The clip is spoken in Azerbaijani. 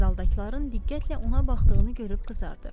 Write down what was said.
Zaldakıların diqqətlə ona baxdığını görüb qızardı.